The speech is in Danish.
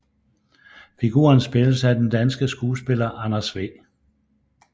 Figuren spilles af den danske skuespiller Anders W